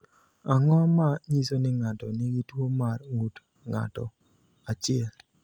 Ang’o ma nyiso ni ng’ato nigi tuwo mar ng’ut ng’ato, 1?